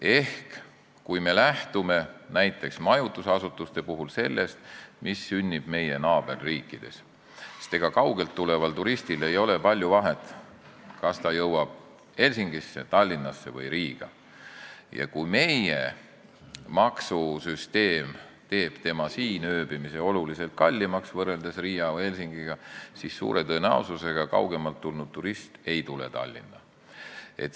Ehk kui me lähtume näiteks majutusasutuste puhul sellest, mis sünnib meie naaberriikides – ega kaugelt tuleval turistil ei ole palju vahet, kas ta jõuab Helsingisse, Tallinnasse või Riiga –, ja kui meie maksusüsteem teeb siin ööbimise oluliselt kallimaks võrreldes Riia või Helsingiga, siis suure tõenäosusega kaugemalt tulev turist ei tule Tallinna.